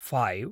five